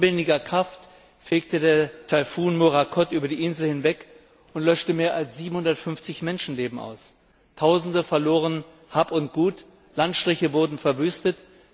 Mit unbändiger Kraft fegte der Taifun Morakot über die Insel hinweg und löschte mehr als 750 Menschenleben aus. Tausende verloren Hab und Gut, Landstriche wurden verwüstet.